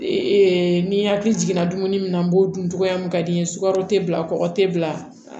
ni hakili jiginna dumuni na n b'o dun cogoya min ka di ye sukaro te bila kɔkɔ te bila